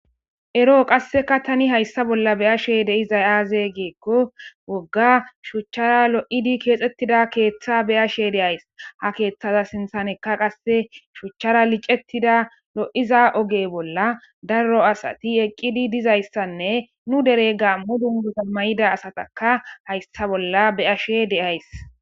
ero qasseka tani hayssa bolla beyashe deizay aaze geekko wogga shuchchara lo7idi keexettida keeththa beyashe deays ha keeththada sinthaneka qasse shuchchara licettida lo7iza oge bolla darro asati eqqidi dizayssanne nu dere gaammu dunguta mayida asataka hayssa bolla beyashe deays